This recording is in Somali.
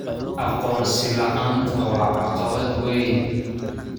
Aqoonsi la'aanta waa caqabad weyn.